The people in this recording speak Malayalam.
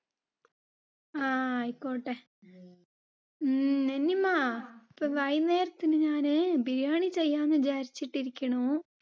ആഹ് ആയിക്കോട്ടെ. ഉം നന്നിമ്മ, വൈകുന്നേരത്തിന് ഞാന് biryani ചെയ്യാമെന്ന് വിചാരിച്ചിട്ട് ഇരിക്കുണു